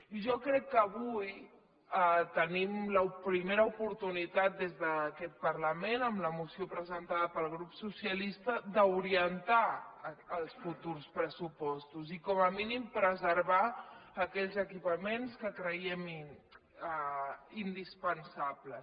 i jo crec que avui tenim la primera oportunitat des d’aquest parlament amb la moció presentada pel grup socialista d’orientar els futurs pressupostos i com a mínim preservar aquells equipaments que creiem indispensables